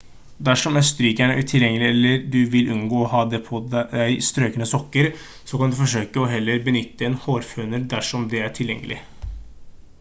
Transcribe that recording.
dersom et strykejern er utilgjengelig eller du vil unngå å ha på deg strøkne sokker så kan du forsøke å heller benytte en hårføner dersom det er tilgjengelig